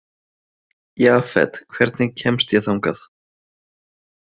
Jafet, hvernig kemst ég þangað?